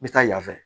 N bɛ taa yan fɛ